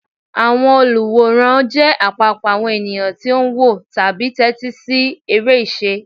Àwọn olùwòran jẹ́ àpapọ̀ àwọn ènìyàn tó ń wò tàbí tẹ́tí sí eré ìṣe.